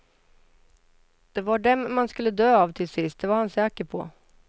Det var dem man skulle dö av till sist, det var han säker på.